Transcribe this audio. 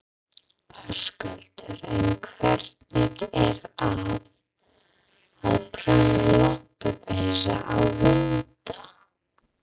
Höskuldur: En hvernig er að, að prjóna lopapeysur á hunda?